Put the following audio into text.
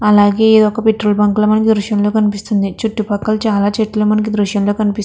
అలాగే ఒక్క petrol bunk మనకు ఈ దృశ్యం లో కనిపిస్తుంది చుట్టూ పక్కల చాల చెట్లు మనకి దృశ్యం లో కానీ పిస్ --